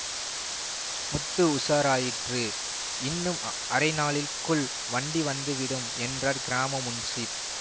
முத்து உஷாராயிற்று இன்னும் அரை நாழிகைக்குள் வண்டி வந்துவிடும் என்றார் கிராம முன்சீப்